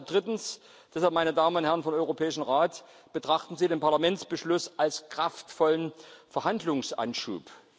Drittens Deshalb, meine Damen und Herren vom Europäischen Rat, betrachten Sie den Parlamentsbeschluss als kraftvollen Verhandlungsanschub.